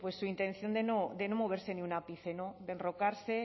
su intención de no moverse ni un ápice de enrocarse